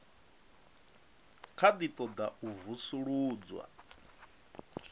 kha ḓi ṱoḓa u vusuludzwa